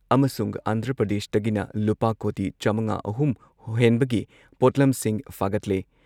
ꯑꯃꯁꯨꯡ ꯑꯟꯙ꯭ꯔ ꯄ꯭ꯔꯗꯦꯁꯇꯒꯤꯅ ꯂꯨꯄꯥ ꯀꯣꯇꯤ ꯆꯥꯃꯉꯥ ꯑꯍꯨꯝ ꯍꯦꯟꯕꯒꯤ ꯄꯣꯠꯂꯝꯁꯤꯡ ꯐꯥꯒꯠꯂꯦ